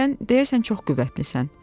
Sən deyəsən çox qüvvətlisən.